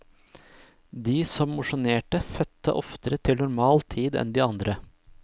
De som mosjonerte, fødte oftere til normal tid enn de andre.